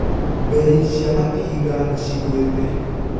Mbei cia matinga nĩcigũĩte.